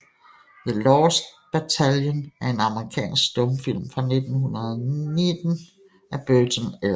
The Lost Battalion er en amerikansk stumfilm fra 1919 af Burton L